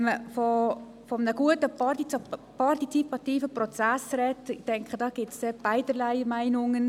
Wenn man von einem guten, partizipativen Prozess spricht, gibt es dazu zweierlei Meinungen.